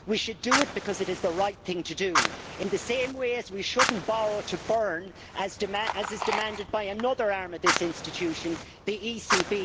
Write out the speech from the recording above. We should do it because it is the right thing to do, in the same way that we should not borrow to burn as is demanded by another arm of this institution, the ECB.